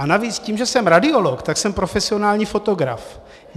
A navíc tím, že jsem radiolog, tak jsem profesionální fotograf.